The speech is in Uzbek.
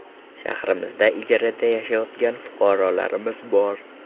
Shahrimizda ijarada yashayotgan fuqarolarimiz bor.